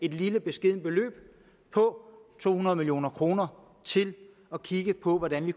et lille beskedent beløb på to hundrede million kroner til at kigge på hvordan vi